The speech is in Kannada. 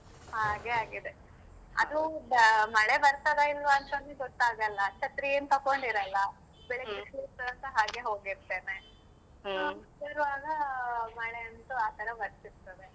ಹಾಗೆ ಆಗಿದೆ ಅದೂ ಮಳೆ ಬರ್ತದ ಇಲ್ವಾ ಅಂತನೂ ಗೊತ್ತಾಗಲ್ಲ ಛತ್ರಿ ಏನ್ ತಕೊಂಡಿರಲ್ಲ ಸಹ ಹಾಗೆ ಹೋಗಿರ್ತೇನೆ ಇರುವಾಗ ಮಳೆ ಅಂತು ಆ ತರಾ ಬರ್ತಿತದೆ.